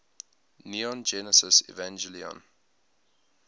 neon genesis evangelion